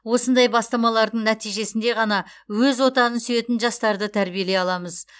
осындай бастамалардың нәтижесінде ғана өз отанын сүйетін жастарды тәрбиелей аламыз